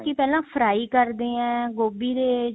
ਪਹਿਲਾਂ fry ਕਰਦੇ ਹੈ ਗੋਭੀ ਦੇ